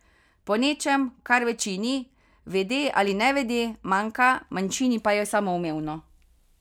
Po nečem, kar večini, vede ali nevede, manjka, manjšini pa je samoumevno.